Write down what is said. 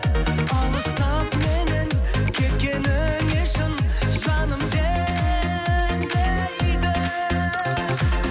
алыстап менен кеткеніңе шын жаным сенбейді